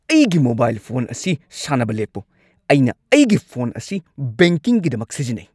ꯑꯩꯒꯤ mobile phone ꯑꯁꯤ ꯁꯥꯟꯅꯕ ꯂꯦꯞꯄꯨ꯫ ꯑꯩꯅ ꯑꯩꯒꯤ ꯐꯣꯟ ꯑꯁꯤ ꯕꯦꯡꯀꯤꯡꯒꯤꯗꯃꯛ ꯁꯤꯖꯤꯟꯅꯩ꯫